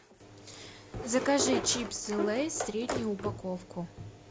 закажи чипсы лейс среднюю упаковку